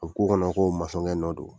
A b'u k'u kɔnɔ ko nɔ de don